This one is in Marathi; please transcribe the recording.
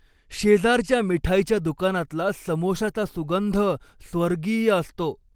शेजारच्या मिठाईच्या दुकानातला समोशाचा सुगंध स्वर्गीय असतो.